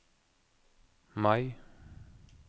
Mai